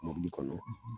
Mɔbili kɔnɔ